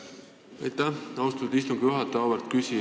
Aitäh, austatud istungi juhataja!